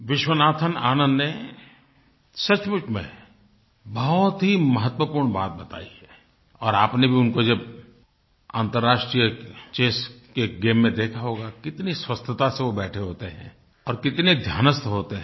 विश्वनाथन आनंद ने सचमुच में बहुत ही महत्वपूर्ण बात बताई है और आपने भी जब उनको अन्तर्राष्ट्रीय चेस के गेम में देखा होगा कितनी स्वस्थता से वो बैठे होते हैं और कितने ध्यानस्थ होते हैं